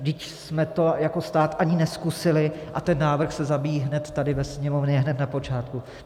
Vždyť jsme to jako stát ani nezkusili a ten návrh se zabíjí hned tady ve Sněmovně hned na počátku.